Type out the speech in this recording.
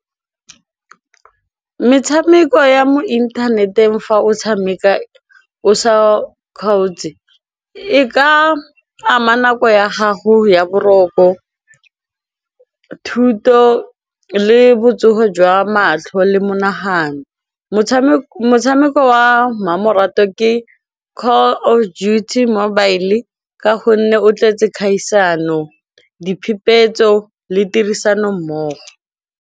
Metshameko ya mo internet-eng fa o tshameka o sa kgaotse e ka ama nako ya gago ya boroko thuto le botsogo jwa matlho le monagano, motshameko wa mmamoratwa ke call of duty mobile ka gonne o tletse kgaisano, diphepetso le tirisanommogo.